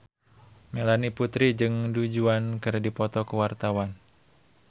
Melanie Putri jeung Du Juan keur dipoto ku wartawan